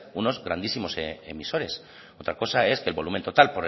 unos grandísimos emisores otra cosa es que el volumen total